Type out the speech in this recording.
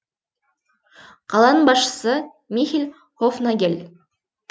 қаланың басшысы михель хофнагель